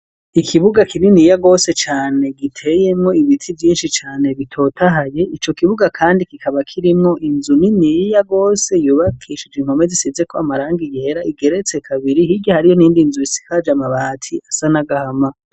Ikibuga kibi niyagose cane giteyemo ibiti byinshi cane bitotahaye icyo kibuga kandi kikaba kirimwo inzu niniyi yagose yubakishije inkome zisize ko amarangi yera igeretse kabiri higo hariyo n'indi inzu isikaje amabati asa nagahama.